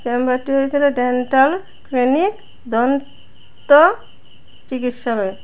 নাম্বারটি হইসিল dental clinic দন্ত চিকিৎসাব্যায় ।